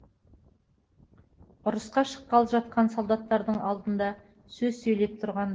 ұрысқа шыққалы жатқан солдаттардың алдында сөз сөйлеп тұрған